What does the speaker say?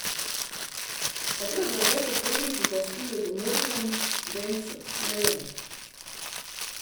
Katero drevo so predniki častili ob Mrzlem studencu, ne vemo.